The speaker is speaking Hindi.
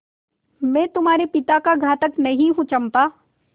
मैं तुम्हारे पिता का घातक नहीं हूँ चंपा